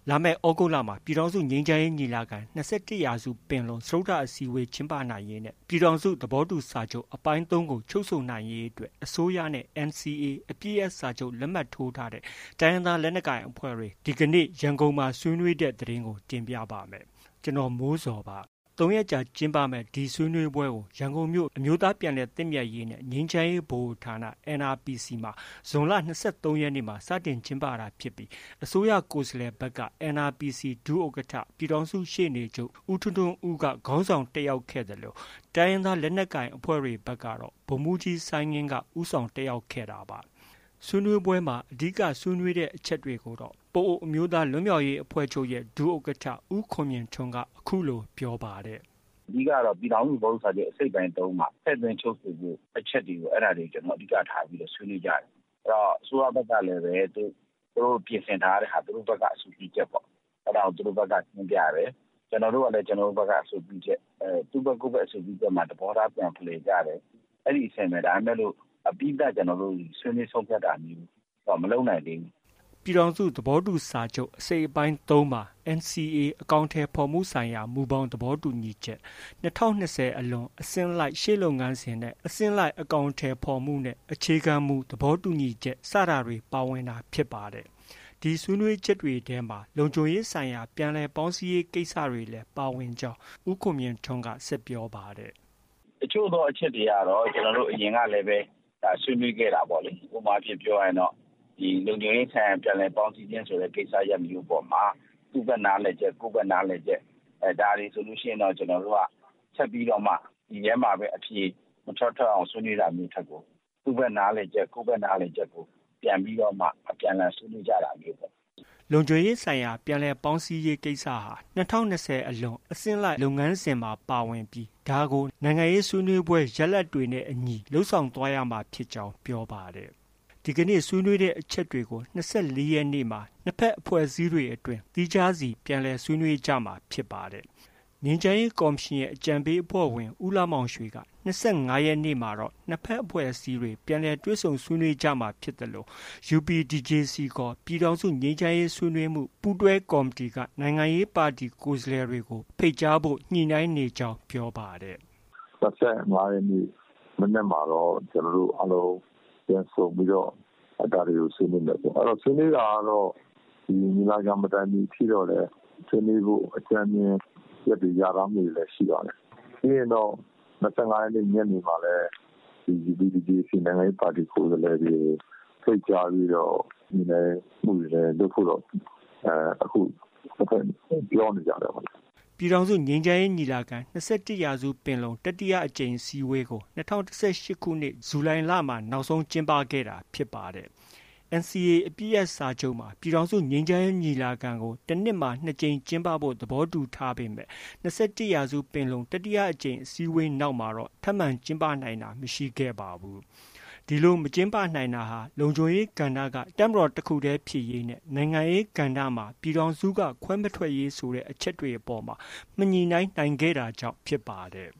လာမယ့် သြဂုတ်လမှာ ပြည်ထောင်စုငြိမ်းချမ်းရေးညီလာခံ- ၂၁ရာစုပင်လုံစတုတ္ထအစည်းအဝေး ကျင်းပနိုင်ရေးနဲ့ ပြည်ထောင်စုသဘောတူစာချုပ် အပိုင်း၃ကို ချုပ်ဆိုနိုင်ရေး အတွက် အစိုးရနဲ့ NCA အပစ်ရပ်စာချုပ် လက်မှတ်ထိုးထားတဲ့ တိုင်းရင်းသားလက်နက်ကိုင်အဖွဲ့တွေ ဇွန်လ ၂၃ ရက် အင်္ဂါနေ့က ရန်ကုန်မှာ ဆွေးနွေးခဲ့ကြပါတယ်။ ဗွီအိုအေ မြန်မာပိုင်း သတင်းထောက် ကိုမိုးဇော် က သတင်းပေးပို့ထားပါတယ်။ ၃ရက်ကြာကျင်းပမယ့် ဒီဆွေးနွေးပွဲကို ရန်ကုန်မြို့ အမျိုးသားပြန်လည်သင့်မြတ်ရေးနဲ့ ငြိမ်းချမ်းရေးဗဟိုဌာန NRPC မှာ ဇွန်လ ၂၃ရက်နေ့မှာ စတင်ကျင်းပတာဖြစ်ပြီး အစိုးရကိုယ်စားလှယ်ဘက်က NRPC ဒုဥက္ကဌ ပြည်ထောင်စုရှေ့နေချုပ် ဦးထွန်းထွန်းဦးက ဦးဆောင်တက်ခဲ့သလို တိုင်းရင်းသားလက်နက်ကိုင်ဘက်ကတော့ ဗိုလ်မှူးကြီး စိုင်းငင်း ဦးဆောင် တက်ရောက်ခဲ့ကြတာပါ။ ဆွေးနွေးပွဲမှာ အဓိက ဆွေးနွေးတဲ့အချက်တွေကိုတော့ ပအိုဝ်းအမျိုးသားလွတ်မြောက်ရေးအဖွဲ့ချုပ် ဒုဥက္ကဌ ဦးခွန်မြင့်ထွန်းက အခုလို ပြောပါတယ်။ “ အဓိကကတော့ ပြည်ထောင်စုသဘောတူစာချုပ် အစိတ်အပိုင်း ၃ မှာ ထည့်သွင်းချုပ်ဆိုဖို့ အချက်တွေကို ကျနော်တို့ အဓိက ထားဆွေးနွေးကြတာ။ အစိုးရဘက်ကလည်း သူတို့ ပြင်ဆင်ထားတဲ့ဟာ သူတို့ အဆိုပြုချက်ပေါ့။ အဲဒါကို သူတို့ဘက်က တင်ပြတယ်။ ကျနော်တို့ကလည်း ကျနော်တို့ဘက်က အဆိုပြုချက်။ သူ့ဘက်က ကိုယ်ဘက် အဆိုပြုချက်မှာ သဘောထားပြန်ဖလှယ်ကြတယ်။ အဲဒီအဆင့်ပဲ ဒါပေမဲ့ အပြီးသတ် ကျနော်တို့ ဆွေးနွေးဆုံးဖြတ်တာမျိုးတော့ မလုပ်နိုင်သေးဘူး။” ပြည်ထောင်စုသဘောတူစာချုပ် အစိတ်အပိုင်း ၃မှာ NCA အကောင်အထည်ဖော်မှုဆိုင်ရာ မူဘောင် သဘောတူညီချက်၊ ၂၀၂၀ အလွန် အဆင့်လိုက် ရှေ့လုပ်ငန်းစဉ်နဲ့ အဆင့်လိုက် အကောင်အထည်ဖော်မှုနဲ့ အခြေခံမူ သဘောတူညီချက် စတဲ့အချက်တွေ ပါဝင်တာဖြစ်ပါတယ်။ ဒီဆွေးနွေးချက်တွေထဲမှာ လုံခြုံရေးဆိုင်ရာ ပြန်လည်ပေါင်းစည်းရေးကိစ္စရပ်တွေလည်း ပါဝင်ကြောင်း ဦးခွန်မြင့်ထွန်းက ဆက်ပြောပါတယ်။ “ တချို့သော အချက်တွေကတော့ အရင်ကလည်း ဆွေးနွေးခဲ့တာပေါ့။ ဥပမာ ပြောရရင်တော့ လုံခြုံရေးဆိုင်ရာ ပြန်လည်ပေါင်းစည်းခြင်းဆိုတဲ့ ကိစ္စရပ်မျိုးအပေါ်မှာ သူ့ဘက် နားလည်ချက် ကိုယ့်ဘက် နားလည်ချက် ဒါတွေဆိုရင်တော့ ကျနော်တို့က ဆက်ပြီးတော့မှ ဒီထဲမှာပဲ အဖြေမထွက် ထွက်အောင် ဆွေးနွေးတာမျိုး ထက်ကို သူ့ဘက်နားလည်ချက် ကိုယ်ဘက်နားလည်ချက်ကို ပြန်ပြီးတော့မှ အပြန်အလှန် ဆွေးနွေးကြတာမျိုးပေါ့။” လုံခြုံရေးဆိုင်ရာ ပြန်လည်ပေါင်းစည်းမှုဟာ ၂၀၂၀အလွန် အစဉ်လိုက်လုပ်ငန်းစဉ်မှာ ပါဝင်ပြီး ဒါကို နိုင်ငံရေးဆွေးနွေးပွဲ ရလဒ်တွေနဲ့ အညီ လုပ်ဆောင်သွားရမှာဖြစ်ကြောင်း ပြောပါတယ်။ ဒီကနေ့ ဆွေးနွေးတဲ့အချက်တွေကို ၂၄ရက်နေ့မှာ နှစ်ဘက်အဖွဲ့အစည်းတွေအတွင်း သီးခြားစီ ပြန်လည်ဆွေး နွေးကြမှာဖြစ်ပါတယ်။ ငြိမ်းချမ်းရေးကော်မရှင်ရဲ့အကြံပေးအဖွဲ့ဝင် ဦးလှမောင်ရွှေက ၂၅ရက်နေ့မှာတော့ ၂ဘက်အဖွဲ့အစည်းတွေ ပြန်လည်တွေ့ဆုံဆွေးနွေးမှာဖြစ်သလို UPDJC ခေါ် ပြည်ထောင်စုငြိမ်းချမ်းရေးဆွေးနွေးမှု ပူးတွဲကော်မတီ နိုင်ငံရေးပါတီက ကိုယ်စားလှယ်တွေကို ဖိတ်ကြားဖို့ ညှိနှိုင်းနေကြောင်း ပြောပါတယ်။ “၂၅ရက်နေ့ မနက်မှာတော့ ကျနော်တို့ အားလုံး ပြန်ဆုံပြီးတော့ အဲဒါတွေကို ဆွေးနွေးမယ်။ အဲတော့ ဆွေးနွေးတာကတော့ ညီလာခံ မတိုင်ခင်အထိတော့လည်း ဆွေးနွေးဖို့ အကြမ်းဖျဉ်း အချက်တွေ လျာထားမှုတွေတော့ ရှိပါတယ်။ ပြီးရင်တော့ ၂၅ရက်နေ့ ညနေမှာလည်း UPDJC နိုင်ငံရေးပါတီ ကိုယ်စားလှယ်တွေကို ဖိတ်ကြားပြီးတော့ ညှိနှိုင်းမှုတွေ လုပ်ဖို့တော့ အခု ၂ဘက် ပြောနေကြတယ်ပေါ့လေ။” ပြည်ထောင်စုငြိမ်းချမ်းရေးညီလာခံ- ၂၁ရာစုပင်လုံ တတိယအကြိမ်အစည်းအဝေးကို ၂၀၁၈ခုနှစ် ဇူလိုင်လမှာ နောက်ဆုံး ကျင်းပခဲ့တာဖြစ်ပါတယ်။ NCA အပစ်ရပ်စာချုပ်မှာ ပြည်ထောင်စုငြိမ်းချမ်းရေး ညီလာခံကို တစ်နှစ်မှာ နှစ်ကြိမ် ကျင်းပဖို့ သဘောတူထားပေမယ့် ၂၁ရာစုပင်လုံ တတိယအကြိမ်အစည်းအဝေးနောက်မှာ ထပ်မံ ကျင်းပနိုင်တာ မရှိခဲ့ပါဘူး။ ဒီလို မကျင်းပနိုင်တာ လုံခြုံရေးကဏ္ဍက တပ်မတော်တစ်ခုတည်းဖြစ်ရေးနဲ့ နိုင်ငံရေးကဏ္ဍမှာ ပြည်ထောင်စုက ခွဲမထွက်ရေးဆိုတဲ့ အချက်တွေအပေါ်မှာ မညှိနှိုင်းနိုင်ခဲ့တာကြောင့် ဖြစ်ပါတယ်